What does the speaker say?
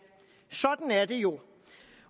sådan er det jo